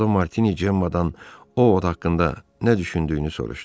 Yolda Martini Cemmadan Ovud haqqında nə düşündüyünü soruşdu.